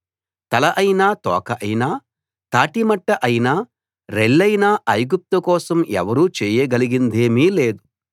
తల అయినా తోక అయినా తాటి మట్ట అయినా రెల్లయినా ఐగుప్తు కోసం ఎవరూ చేయగలిగిందేమీ లేదు